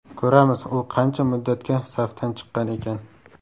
Ko‘ramiz, u qancha muddatga safdan chiqqan ekan.